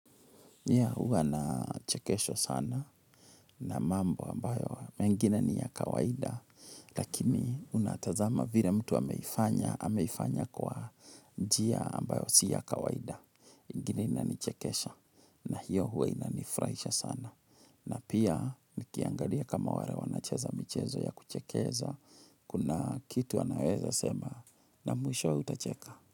Pia huwa nachekeshwa sana na mambo ambayo mengine ni ya kawaida lakini unatazama vile mtu ameifanya ameifanya kwa njia ambayo si ya kawaida. Ingine inanichekesha na hiyo huwa inanifuraisha sana na pia nikiangalia kama wale wanacheza mchezo ya kuchekeza kuna kitu wanaweza sema na mwishowe utacheka.